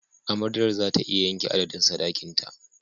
Amaryar za ta iya yanke adadin sadakinta.